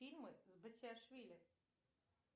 фильмы с басилашвили